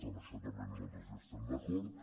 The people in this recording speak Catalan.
amb això també nosaltres hi estem d’acord